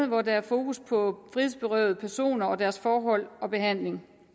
hvor der er fokus på frihedsberøvede personer og deres forhold og behandling